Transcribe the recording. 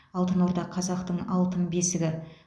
алтын орда қазақтың алтын бесігі